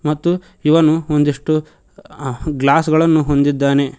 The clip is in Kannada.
ಮತ್ತು ಇವನು ಒಂದಿಷ್ಟು ಗ್ಲಾಸ್ ಗಳನ್ನು ಹೊಂದಿದ್ದಾನೆ.